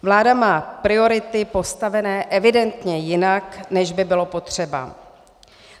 Vláda má priority postavené evidentně jinak, než by bylo potřeba.